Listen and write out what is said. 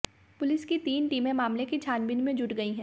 police की तीन टीमें मामले की छानबीन में जुट गई हैं